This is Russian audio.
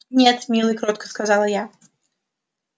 нет милый кротко сказала я